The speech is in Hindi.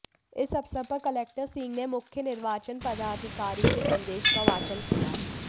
इस अवसर पर कलेक्टर सिंह ने मुख्य निर्वाचन पदाधिकारी के संदेश का वाचन किया